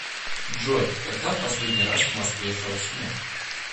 джой когда в последний раз в москве шел снег